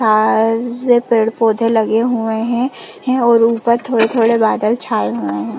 आ पेड़-पौधे लगे हुए है है और ऊपर थोड़े-थोड़े बादल छाए हुए है।